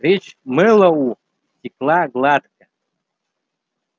речь мэллоу текла гладко